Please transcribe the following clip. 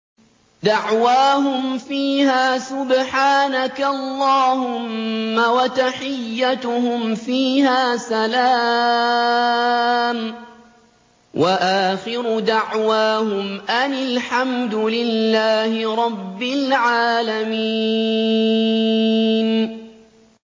دَعْوَاهُمْ فِيهَا سُبْحَانَكَ اللَّهُمَّ وَتَحِيَّتُهُمْ فِيهَا سَلَامٌ ۚ وَآخِرُ دَعْوَاهُمْ أَنِ الْحَمْدُ لِلَّهِ رَبِّ الْعَالَمِينَ